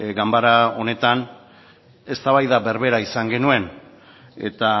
ganbara honetan eztabaida berbera izan genuen eta